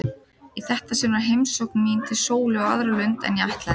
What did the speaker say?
Í þetta sinn var heimsókn mín til Sólu á aðra lund en ég ætlaði.